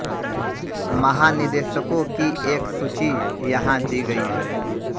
महानिदेशकों की एक सूची यहाँ दी गई है